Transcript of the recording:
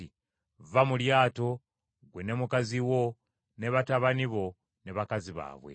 “Vva mu lyato, ggwe, ne mukazi wo, ne batabani bo ne bakazi baabwe.